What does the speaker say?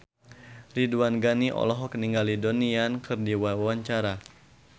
Ridwan Ghani olohok ningali Donnie Yan keur diwawancara